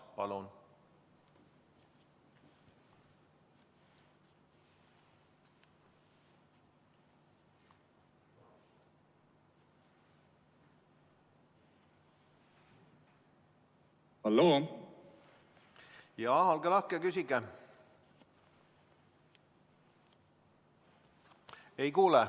Palun, olge lahke, küsige!